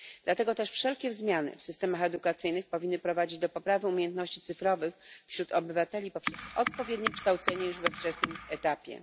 Dlatego też wszelkie zmiany w systemach edukacyjnych powinny prowadzić do poprawy umiejętności cyfrowych wśród obywateli poprzez odpowiednie kształcenie już na wczesnym etapie.